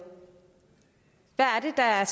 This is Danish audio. er